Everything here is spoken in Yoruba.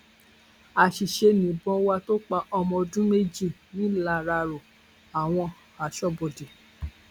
àṣìṣe nìbọn wa tó pa ọmọ ọdún méjì nìlararó àwọn aṣọbodè